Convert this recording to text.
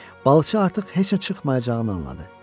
Balıqçı artıq heç nə çıxmayacağını anladı.